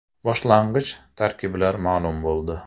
Boshlang‘ich tarkiblar ma’lum bo‘ldi.